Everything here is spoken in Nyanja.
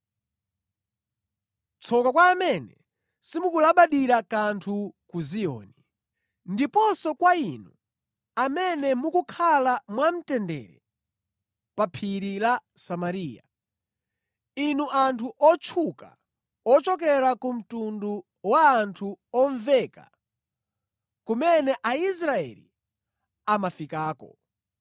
Tsoka kwa amene simukulabadira kanthu ku Ziyoni, ndiponso kwa inu amene mukukhala mwamtendere pa Phiri la Samariya, inu anthu otchuka ochokera ku mtundu wa anthu omveka, kumene Aisraeli amafikako!